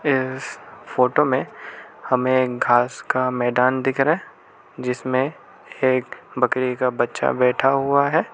इस फोटो में हमें एक घास का मैदान दिख रहा जिसमें एक बकरी का बच्चा बैठा हुआ है।